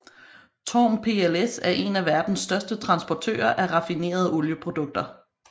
TORM PLC er en af verdens største transportører af raffinerede olieprodukter